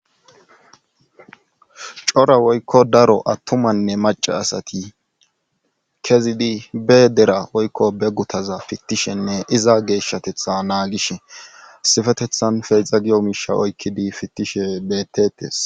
cora woykko daro attumanne maca asati kezidi be dera woykko beggutaza fittishenne iza geeshshatetha naagishe sifetethan feexa giyo miisha oykkidi fittishe beettetes